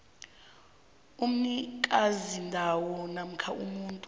umnikazindawo namkha umuntu